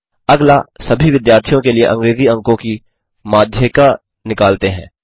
अगला सभी विद्यार्थियों के लिए अंग्रेजी अंकों की माध्यिका निकालते हैं